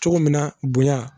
Cogo min na bonya